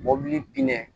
Mɔbili binnen